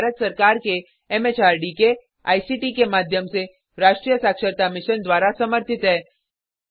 यह भारत सरकार के एम एच आर डी के आई सी टी के माध्यम से राष्ट्रीय साक्षरता मिशन द्वारा समर्थित है